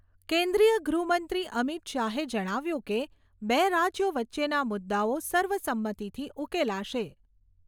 કેન્દ્રીય ગૃહમંત્રી અમિત શાહે જણાવ્યું કે, બે રાજ્યો વચ્ચેના મુદ્દાઓ સર્વસંમતિથી ઉકેલાશે.